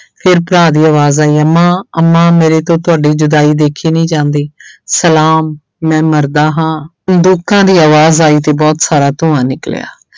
ਫਿਰ ਭਰਾ ਦੀ ਆਵਾਜ਼ ਆਈ ਅੰਮਾ ਅੰਮਾ ਮੇਰੇ ਤੋਂ ਤੁਹਾਡੀ ਜੁਦਾਈ ਦੇਖੀ ਨਹੀਂ ਜਾਂਦੀ ਸਲਾਮ ਮੈਂ ਮਰਦਾ ਹਾਂ, ਬੰਦੂਕਾਂ ਦੀ ਆਵਾਜ਼ ਆਈ ਤੇ ਬਹੁਤ ਸਾਰਾ ਧੂੰਆਂ ਨਿਕਲਿਆ।